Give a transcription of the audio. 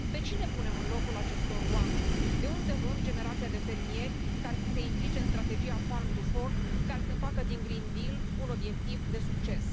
Pe cine punem în locul acestor oameni, de unde luăm generația de fermieri care să se implice în strategia Farm to Fork care să facă din Green Deal un obiectiv de succes?